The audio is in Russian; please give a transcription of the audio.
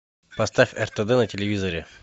поставь ртд на телевизоре